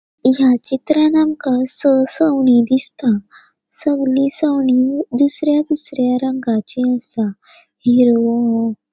या चित्रात आमका सवनी दिसता सवनी सवनी दुसर्या दुसर्या रंगाची असा हिरवों --